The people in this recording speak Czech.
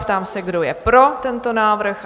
Ptám se, kdo je pro tento návrh?